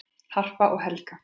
Harpa og Helga.